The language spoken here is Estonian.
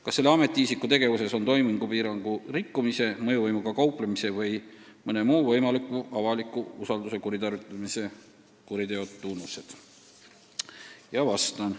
Kas selle ametiisiku tegevuses on toimingupiirangu rikkumise, mõjuvõimuga kauplemise või mõne muu võimaliku avaliku usalduse kuritarvitamise kuriteo tunnused?